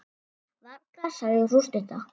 Varla, sagði sú stutta.